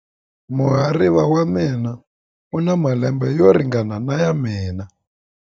Muhariva wa mina u na malembe yo ringana na ya mina.